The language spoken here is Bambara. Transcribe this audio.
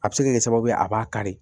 A bɛ se ka kɛ sababu ye a b'a kari